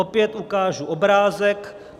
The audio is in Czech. Opět ukážu obrázek.